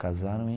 Casaram em.